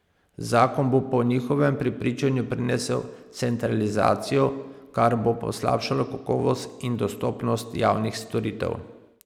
Zakon bo po njihovem prepričanju prinesel centralizacijo, kar bo poslabšalo kakovost in dostopnost javnih storitev.